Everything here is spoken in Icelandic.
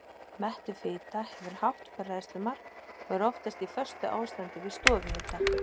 Mettuð fita hefur hátt bræðslumark og er oftast í föstu ástandi við stofuhita.